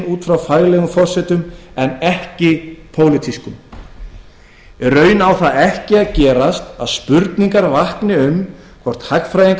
út frá faglegum forsendum en ekki pólitískum í raun á það ekki að gerast að spurningar vakni um hvort hagfræðingar